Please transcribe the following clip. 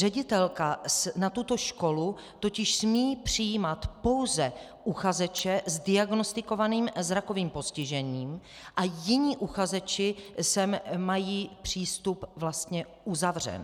Ředitelka na tuto školu totiž smí přijímat pouze uchazeče s diagnostikovaným zrakovým postižením a jiní uchazeči sem mají přístup vlastně uzavřen.